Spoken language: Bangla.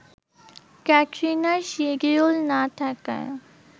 ক্যাটরিনার শিডিউল না থাকায়